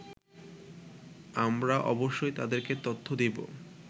আমরা অবশ্যই তাদেরকে তথ্য দেবো